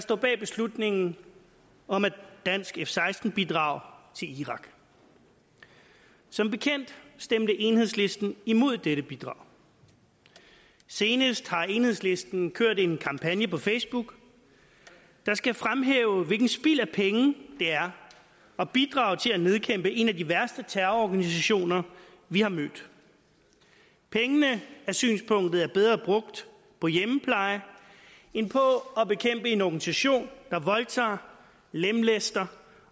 står bag beslutningen om et dansk f seksten bidrag til irak som bekendt stemte enhedslisten imod dette bidrag senest har enhedslisten kørt en kampagne på facebook der skal fremhæve hvilket spild af penge det er at bidrage til at nedkæmpe en af de værste terrororganisationer vi har mødt pengene er synspunktet er bedre brugt på hjemmepleje end på at bekæmpe en organisation der voldtager lemlæster